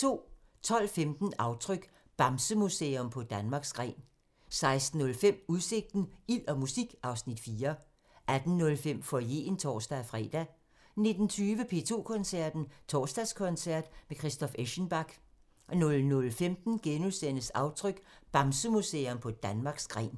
12:15: Aftryk – Bamsemuseum på Danmarks gren 16:05: Udsigten – Ild og musik (Afs. 4) 18:05: Foyeren (tor-fre) 19:20: P2 Koncerten – Torsdagskoncert med Christoph Eschenbach 00:15: Aftryk – Bamsemuseum på Danmarks gren *